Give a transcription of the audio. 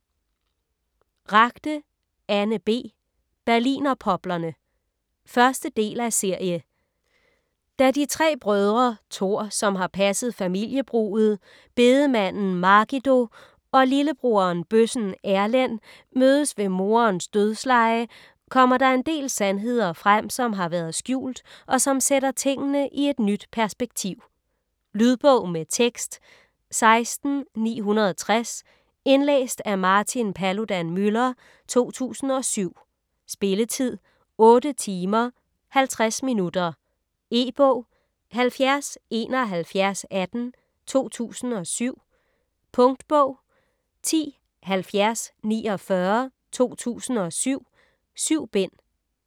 Ragde, Anne B.: Berlinerpoplerne 1. del af serie. Da de tre brødre, Tor, som har passet familiebruget, bedemanden Margido, og lillebroderen, bøssen Erlend mødes ved moderens dødsleje, kommer der en del sandheder frem, som har været skjult, og som sætter tingene i nyt perspektiv. Lydbog med tekst 16960 Indlæst af Martin Paludan-Müller, 2007. Spilletid: 8 timer, 50 minutter. E-bog 707118 2007. Punktbog 107049 2007. 7 bind.